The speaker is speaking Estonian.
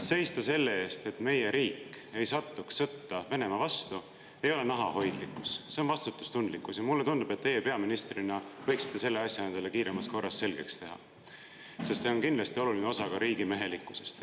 Seista selle eest, et meie riik ei satuks sõtta Venemaa vastu, ei ole, nahahoidlikkus, see on vastutustundlikkus, ja mulle tundub, et teie peaministrina võiksite selle asja endale kiiremas korras selgeks teha, sest see on kindlasti oluline osa riigimehelikkusest.